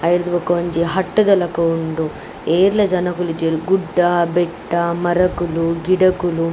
ಅವೆಡ್ದ್ ಬೊಕ ಒಂಜಿ ಹಟ್ ದ ಲಕ ಉಂಡು ಏರ್ಲ ಜನೊಕುಲು ಇಜ್ಜೆರ್ ಗುಡ್ದ ಬೆಟ್ಟ ಮರಕುಲು ಗಿಡಕುಲು.